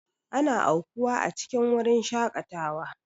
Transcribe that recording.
Ana aukuwa a cikin wurin shakatawa.